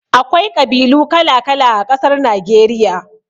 Akwai ƙabilu kala-kala a ƙasar Nageriya.